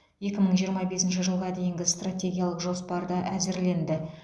екі мың жиырма бесінші жылға дейінгі стратегиялық жоспар та әзірленді